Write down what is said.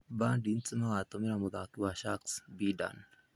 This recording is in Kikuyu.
Bandits magatũmĩra mũthaki wa Sharks, Bidan.